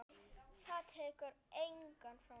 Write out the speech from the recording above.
Það tekur enginn frá mér.